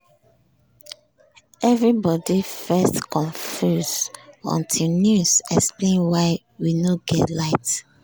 evribodi first confuse until news explain why we nor get light.